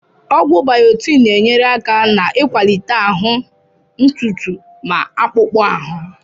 Ọgwụ biotin na-enyere aka n'ịkwalite ahụ, ntutu ma akpụkpọ ahụ